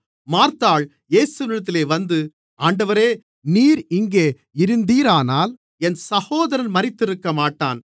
மார்த்தாள் இயேசுவினிடத்தில் வந்து ஆண்டவரே நீர் இங்கே இருந்தீரானால் என் சகோதரன் மரித்திருக்கமாட்டான்